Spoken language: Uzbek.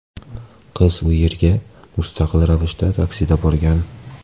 Qiz u yerga mustaqil ravishda taksida borgan.